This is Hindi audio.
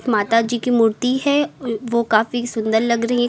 माताजी की मूर्ति है अह वो काफी सुंदर लग रही है का--